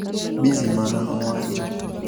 Bizimana nowacho